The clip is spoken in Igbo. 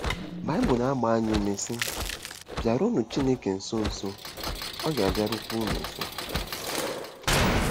Baịbụl na-agba anyị ume, sị: “Bịaruonụ Chineke nso, nso, ọ ga-abịarukwa unu nso.